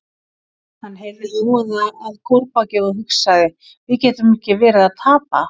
Hann heyrði hávaða að kórbaki og hugsaði: við getum ekki verið að tapa.